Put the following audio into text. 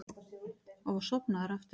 Og var sofnaður aftur.